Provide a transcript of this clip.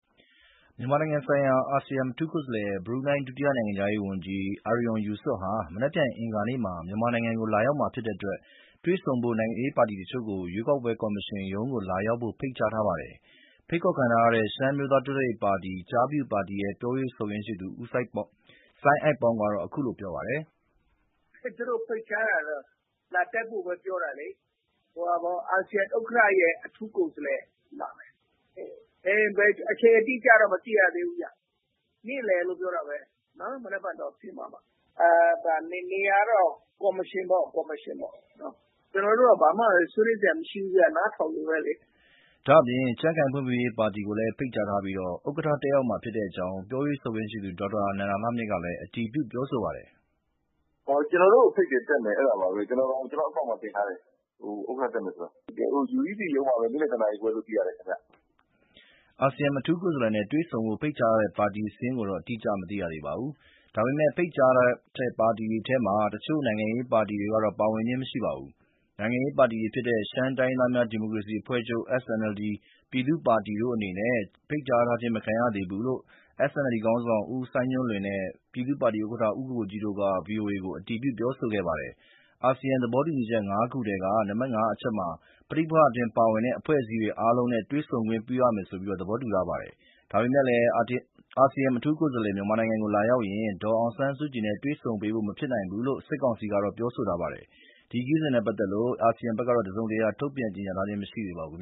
မြန်မာနိုင်ငံဆိုင်ရာအာဆီယံအထူးကိုယ်စားလှယ်၊ဘရူနိုင်း ဒုတိယနိုင်ငံခြားရေးဝန်ကြီး အာရွန် ယူစွတ် ဟာ မနက်ဖြန် အင်္ဂါနေ့မှာ မြန်မာနိုင်ငံကိုလာရောက်မှာဖြစ်တဲ့အတွက် တွေ့ဆုံဖို့ နိုင်ငံရေးပါတီအချို့ကို ရွေးကောက်ပွဲကော်မရှင်ရုံးကို လာရောက်ဖို့ ဖိတ်ကြားထားပါတယ်။ ဖိတ်ခေါ်ခံထားရတဲ့ ရှမ်းအမျိုးသားတိုးတက်ရေးပါတီ (ကျားဖြူပါတီ) ရဲ့ပြောရေးဆိုခွင့်ရှိသူ စိုင်းအိုက်ပေါင်းက အခုလို ပြောပြပါတယ်။ "ကျနော်တို့ကို ဖိတ်ကြားတာကတော့ လာတက်ဖို့ပဲပြောတာလေ။ အာဆီယံဥက္ကဋ္ဌရဲ့အထူူးကိုယ်စားလှယ်၊ အချိန်အတိအကျတော့ မသိရသေးဘူးဗျ။ နေ့လည်လို့ပြောတာပဲ၊ မနက်ဖြန်တော့ သိရမှာပေါ့၊ နေရာကတော့ ကော်မရှင်ပေါ့။ ကျနော်တို့ကတော့ ဘာမှဆွေးနွေးစရာမရှိဘူးဗျ၊ နားထောင်ဖို့ပဲလေ။” ဒါ့အပြင် ကြံ့ခိုင်ဖွံ့ဖြိုးရေးပါတီကိုလည်းဖိတ်ကြားထားပြီး ဥက္ကဋ္ဌတက်ရောက်မှာဖြစ်ကြောင်း ပြောရေးဆိုခွင့်ရှိသူ ဒေါက်တာ နန္ဒလှမြင့် ကလည်း အတည်ပြုပြောဆိုပါတယ်။ “ကျနော်တို့ကိုဖိတ်တယ်။ တက်မယ်၊ အဲဒါပါပဲ၊ ကျနော့်အကောင့်မှာလည်းတင်ထားတယ်၊ ဥက္ကဋ္ဌတက်ပါမယ်။ UEC ရုံးမှာပဲ၊နေ့လည်တနာရီခွဲလို့သိရတယ်ဗျ” အာဆီယံအထူးကိုယ်စားလှယ်နဲ့ တွေ့ဆုံဖို့ဖိတ်ကြားတဲ့ပါတီစာရင်းကို အတိကျမသိရသေးပါဘူး။ ဒါပေမယ့် ဖိတ်ကြားတဲ့ပါတီတွေထဲမှာ အချို့နိုင်ငံရေးပါတီတွေတော့ ပါဝင်ခြင်းမရှိပါဘူး။ နိုင်ငံရေးပါတီတွေဖြစ်တဲ့ ရှမ်းတိုင်းရင်းသားများ ဒီမိုကရေစီအဖွဲ့ချုပ် (SNLD) နဲ့ ပြည်သူ့ပါတီတို့အနေနဲ့ ဖိတ်ကြားခြင်းမခံရဘူးလို့ SNLD ခေါင်းဆောင် ဦးစိုင်းညွန့်လွင်နဲ့ ပြည်သူ့ပါတီ ဥက္ကဋ္ဌဦးကိုကိုကြီးတို့က ဗွီအိုအေ ကိုအတည်ပြုပြောဆိုခဲ့ပါတယ်။ အာဆီယံသဘောတူညီချက် ၅ ခုထဲက နံပါတ် ၅ အချက်မှာ ပဋိပက္ခအတွင်း ပါဝင်တဲ့ ပါတီအားလုံးနဲ့ တွေ့ဆုံခွင့်ပြုရမယ်လို့ သဘောတူထားပါတယ်။ ဒါပေမယ့် အာဆီယံအထူးကိုယ်စားလှယ် မြန်မာနိုင်ငံကိုလာရောက်ရင် ဒေါ်အောင်ဆန်းစုကြည်နဲ့ တွေ့ဆုံပေးဖို့ မဖြစ်နိုင်ဘူးလို့ စစ်ကောင်စီကတော့ ပြောဆိုထားပါတယ်။ ဒီခရီးစဉ်နဲ့ပတ်သက်လို့ ASEAN ဘက်ကတော့ တစုံတရာထုတ်ပြန်ကြေညာထားခြင်းမရှိသေးပါဘူး